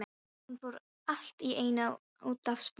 Hún fór allt í einu út af sporinu.